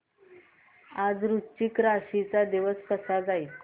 आज वृश्चिक राशी चा दिवस कसा जाईल